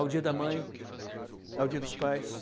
Ao dia da mãe, ao dia dos pais.